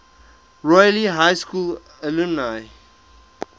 royal high school alumni